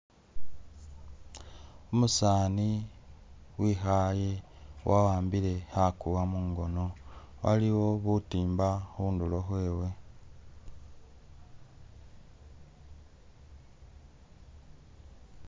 Umusani wikhaye wa ambilile khakuwa mungono waliwo butimba khundulo khwe we